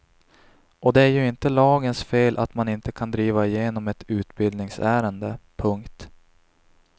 Och det är ju inte lagens fel att man inte kan driva igenom ett utbildningsärende. punkt